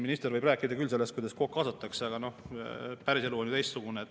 Minister võib siin rääkida sellest, kuidas kaasatakse, aga päriselu on teistsugune.